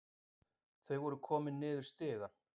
Þau voru komin niður stigann.